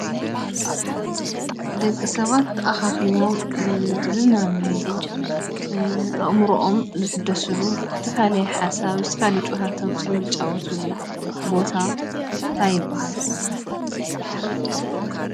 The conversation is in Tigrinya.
ደቂ ሰባት ተኣኻኺቦም ዝዝናነይሉ፣ ኣእምሮኦም ዝሕደስሉ፣ ዝተፈላለየ ሓሳብ ዝተፈላለየ ጨዋታታት ወፂዮም ዝጫወትሉ ቦታ እንታይ ይብሃል?